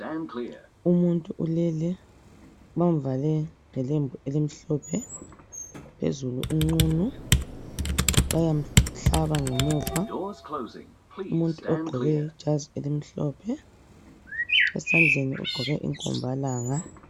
Umuntu ulele bamvale ngelembu elimhlophe, phezulu unqunu bayamhlaba ngemuva umuntu ogqoke ijazi elimhlophe esandleni ugqoke inkombalanga.